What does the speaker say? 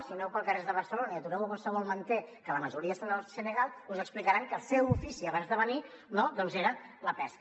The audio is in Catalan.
si aneu pels carrers de barcelona i atureu a qualsevol manter que la majoria són del senegal us explicaran que el seu ofici abans de venir no doncs era la pesca